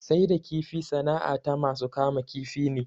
Sai da kifi sana'a ta masu kama kifi ne